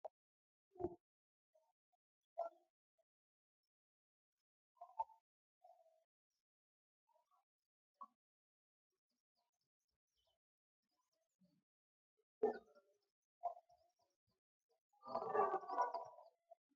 ኣዝዮም ዓበይቲ ህንጻታት ወይ ኮምፕሌክስ ኮይኖም ብዙሓት ድኳናትን ቤት መግብታትን ዝሓዙ ኮይኖም መብዛሕትኡ ግዜ ኣብ ቀረባ መዕረፊ መካይን ኣለዎም። ሰባት ክዕድጉሉን ክድረሩሉን ናይ ትርፊ ግዜ ከሕልፉሉን ከም ማእከላይ ቦታታት ኮይኖም የገልግሉ። ዘመናዊ ሞላት መብዛሕትኡ ግዜ ከም ማሕበረሰባዊ ወይ መዘናግዒ ማእከላት እምበር ከም ናይ ቸርች ቦታታት ጥራይ ኣይኰኑን።